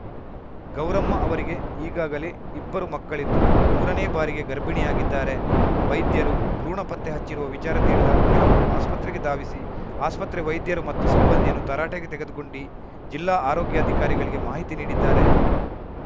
ಗೌರಮ್ಮ ಅವರಿಗೆ ಈಗಾಗಲೇ ಇಬ್ಬರು ಮಕ್ಕಳಿದ್ದು ಮೂರನೇ ಬಾರಿಗೆ ಗರ್ಭಿಣಿಯಾಗಿದ್ದಾರೆ ವೈದ್ಯರು ಭ್ರೂಣ ಪತ್ತೆ ಹಚ್ಚಿರುವ ವಿಚಾರ ತಿಳಿದ ಕೆಲವರು ಆಸ್ಪತ್ರೆಗೆ ಧಾವಿಸಿ ಆಸ್ಪತ್ರೆ ವೈದ್ಯರು ಮತ್ತು ಸಿಬ್ಬಂದಿಯನ್ನು ತರಟೆಗೆ ತೆಗೆದುಕೊಂಡಿ ಜಿಲ್ಲಾ ಆರೋಗ್ಯಾಧಿಕಾರಿಗಳಿಗೆ ಮಾಹಿತಿ ನೀಡಿದ್ದಾರೆ